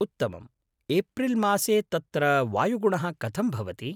उत्तमम्। एप्रिल् मासे तत्र वायुगुणः कथं भवति?